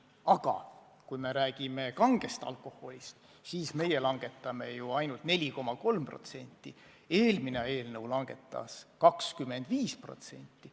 Aga kui me räägime kangest alkoholist, siis meie tahame langetada ainult 4,3%, eelmine eelnõu 25%.